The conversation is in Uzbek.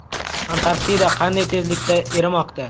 Antarktida qanday tezlikda erimoqda?.